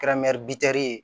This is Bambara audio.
Kɛra bitɛri ye